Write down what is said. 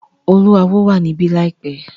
Oluawo wà níbí láìpẹ́.